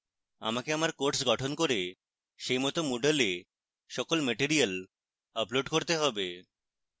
আমাকে আমার course গঠন করে সেইমত moodle এ সকল materials upload করতে have